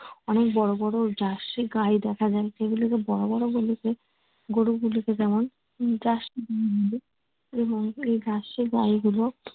অনেক বড় বড় গাই দেখা যায় সেগুলোকে বড় বড় গুলোকে গরুগুলোকে যেমন তেমন এই গাই গুলো